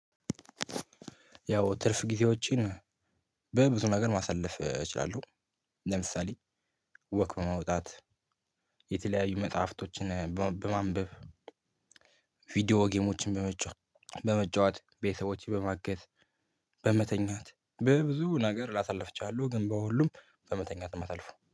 ያው ትርፍ ጊዜዎችን በብዙ ነገር ማሳለፍ እችላለሁ። ለምሳሌ ወክ በመውጣት የተለያዩ መጽሐፍቶችን በ በማንበብ። ቪዲዮ ጌሞችን በመጫወት ቤተሰቦችን በማገዝ። በመተኛት በብዙ ነገር ላሳለፍቻለሁ ግን በሁሉም በመተኛት ነው የምሳልፈ